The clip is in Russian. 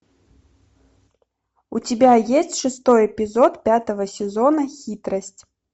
у тебя есть шестой эпизод пятого сезона хитрость